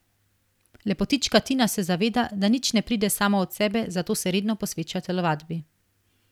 Lepotička Tina se zaveda, da nič ne pride samo od sebe, zato se redno posveča telovadbi.